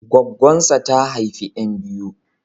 Goggonsa ta haifi ƴan biyu.